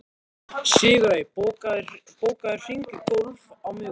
Sigurey, bókaðu hring í golf á miðvikudaginn.